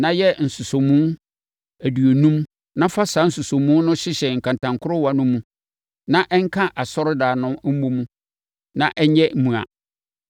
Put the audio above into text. Na yɛ nsosɔmu aduonum na fa saa nsosɔmu no hyehyɛ nkantankorowa no mu na ɛnka asɔredan no mmɔ mu na ɛnyɛ mua.